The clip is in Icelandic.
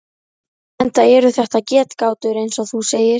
Enda eru þetta getgátur eins og þú segir.